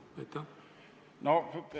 Aitäh!